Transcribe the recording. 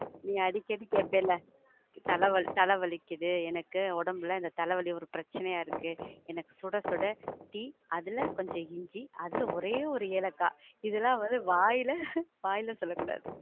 நீ அடிக்கடி கேப்பல, தல, தல வலிக்குது, எனக்கு ஒடம்புல இந்த தல வலி ஒரு பிரச்சனையா இருக்கு, எனக்கு சுட சுட டீ, அதுல கொஞ்சம் இஞ்சி, அதுல ஒரே ஒரு ஏலக்காய், இதுலாம் வந்து வாயில வாயில சொல்லக்கூடாது.